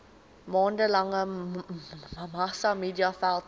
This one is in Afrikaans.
maande lange massamediaveldtog